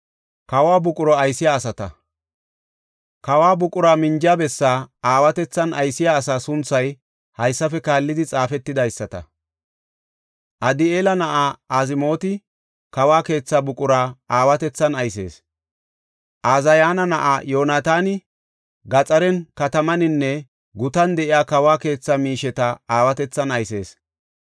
Kawo buqura minjiya bessaa aawatethan aysiya asaa sunthay haysafe kaallidi xaafetidaysata. Adi7eela na7aa Azmooti kawo keetha buqura aawatethan aysees. Ooziyana na7ay Yoonataani gaxaren, katamaninne gutan de7iya kawo keetha miisheta aawatethan aysees.